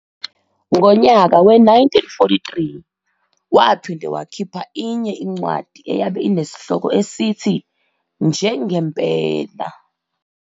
Ngonyaka we-1943 waphinde wakhipha inye incwadi eyabe ineshloko esithi "Nje Ngempela".